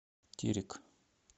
терек